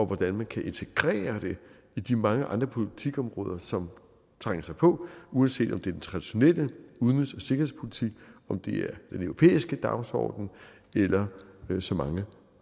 hvordan man kan integrere det i de mange andre politikområder som trænger sig på uanset om det er den traditionelle udenrigs og sikkerhedspolitik om det er den europæiske dagsorden eller så mange